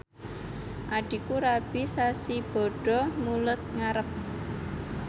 adhiku rabi sasi Bada Mulud ngarep